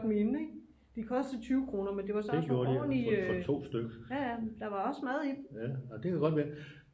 Minde ikke de kostede 20 kroner men det var så også en ordentlig øh ja ja der var også mad i dem